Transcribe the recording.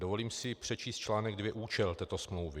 Dovolím si přečíst článek 2, účel této smlouvy.